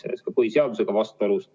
See on ka põhiseadusega vastuolus.